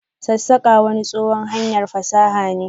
sassaka wani tsohuwan hanyar fasaha ne.